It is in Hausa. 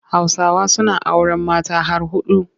Hausawa suna auren mata har huɗu.